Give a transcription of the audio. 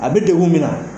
A bɛ degun min na